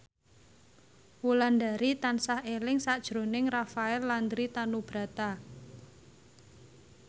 Wulandari tansah eling sakjroning Rafael Landry Tanubrata